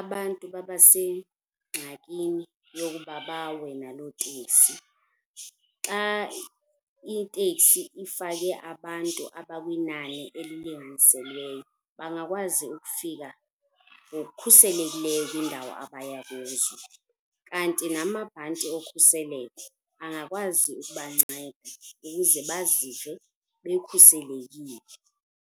abantu babasengxakini yokuba bawe naloo tekisi. Xa itekisi ifake abantu abakwinani elilinganiselweyo, bangakwazi ukufika ngokukhuselekileyo kwindawo abaya kuzo. Kanti namabhanti okhuseleko angakwazi ukubanceda ukuze bazive bekhuselekile.